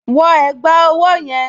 Wọ ẹ̀gbá ọwọ́ yẹn!